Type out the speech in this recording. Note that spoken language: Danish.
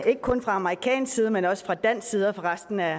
ikke kun fra amerikansk side men også fra dansk side og fra resten af